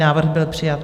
Návrh byl přijat.